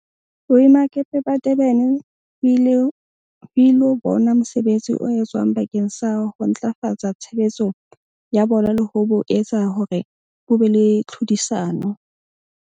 Boemakepe ba Durban ho ilo bona mosebetsi o etswang bakeng sa ho ntlafatsa tshebetso ya bona le ho bo etsa hore bo be le tlhodisano.